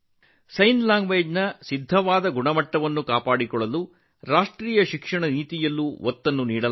ಸಂಜ್ಞೆ ಭಾಷೆಗೆ ನಿಗದಿತ ಗುಣಮಟ್ಟವನ್ನು ಕಾಯ್ದುಕೊಳ್ಳಲು ರಾಷ್ಟ್ರೀಯ ಶಿಕ್ಷಣ ನೀತಿಯಲ್ಲಿ ಹೆಚ್ಚಿನ ಒತ್ತು ನೀಡಲಾಗಿದೆ